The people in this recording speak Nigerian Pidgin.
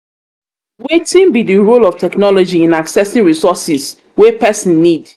wetin be di role of technology in accessing resources wey pesin need?